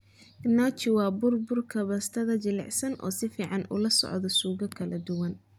Gnocchi waa bur burka baastada jilicsan oo si fiican ula socda suugo kala duwan.